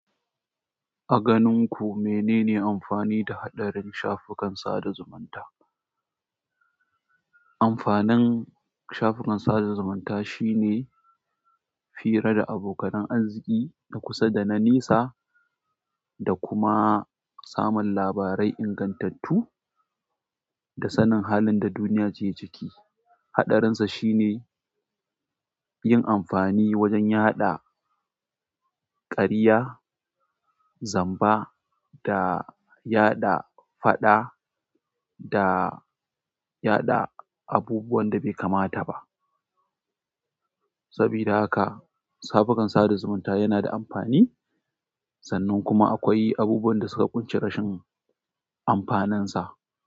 A ganin ku menene amfani da haɗarin shafukan sada zumunta? Amfanin shafukan sada zumunta shine fira da abokan arziki na kusa da na nisa da kuma samun labarai ingantattu da sanin halin da duniya ce ciki. Haɗarinsa shine yin amfani wajen yaɗa ƙarya, zamba da yaɗa faɗa da yaɗa abubuwan da bai kamata ba. Sabida haka shafukan sada zumunta yana da amfani sannan kuma akwai abubuwan da suka kunshi rashin amfanin sa.